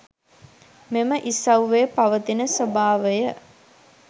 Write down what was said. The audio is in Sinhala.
මෙම ඉසව්වේ පවතින ස්වභාවය